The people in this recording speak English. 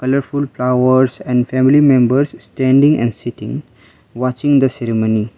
colourful flowers and family members standing and sitting watching the ceremony.